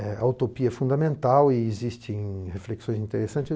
A utopia é fundamental e existe em reflexões interessantes.